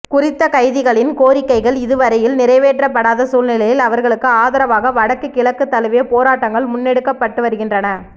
குறித்த கைதிகளின் கோரிக்கைகள் இதுவரையில் நிறைவேற்றப்படாத சூழ்நிலையில் அவர்களுக்கு ஆதரவாக வடக்கு கிழக்கு தழுவிய போராட்டங்கள் முன்னெடுக்கப்பட்டுவருகின்றன